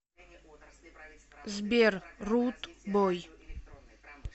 сбер руд бой